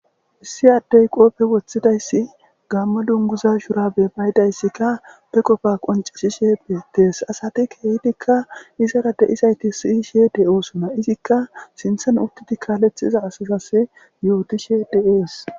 Issi addey qopfe woththidayssi gamma lunguza shurabe bayidayssikka be qofa qoncisishe edees asati kehdikka izara de isayti siyishe de'oosona izikka sinthon uttidi kaalethxiza asasas yootishe de'oos